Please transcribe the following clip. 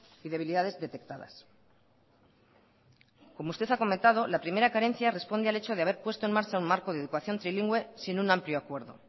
y debilidades detectadas como usted ha comentado la primera carencia responde al hecho de haber puesto en marcha un marco de educación trilingüe sin un amplio acuerdo